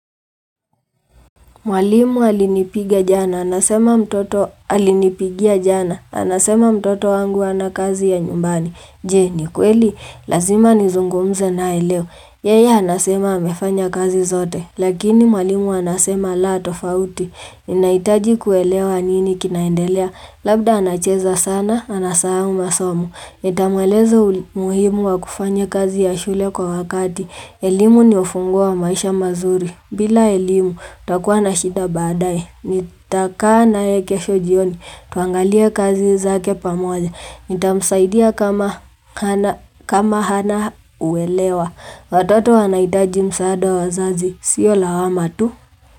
Mwalimu alinipiga jana. Anasema mtoto alinipigia jana. Anasema mtoto wangu ana kazi ya nyumbani. Je ni kweli. Lazima nizungumze nae leo Yeye anasema amefanya kazi zote. Lakini mwalimu anasema la tofauti. Ninahitaji kuelewa nini kinaendelea. Labda anacheza sana. Anasahau masomo. Nitamweleza muhimu wa kufanya kazi ya shule kwa wakati. Elimu ni ufunguo wa maisha mazuri. Bila elimu, utakuwa na shita baadae Nitakaa nae kesho jioni. Tuangalie kazi zake pamoja. Nitamsaidia kama hana uelewa. Watoto wanaitaji msaada wa wazazi. Sio lawama tu.